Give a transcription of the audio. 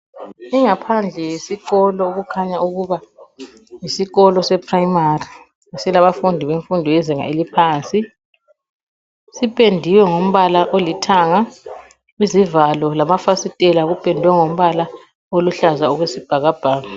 Ingaphandle yesikolo okukhanya ukuba yisikolo se primary silabafundi bemfundo yezinga eliphansi sipendiwe ngombala olithanga izivalo lamafasitela kupendwe ngombala oluhlaza okwesibhakabhaka.